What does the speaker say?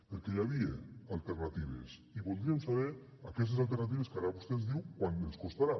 perquè hi havia alternatives i voldríem saber aquestes alternatives que ara vostè diu quant ens costaran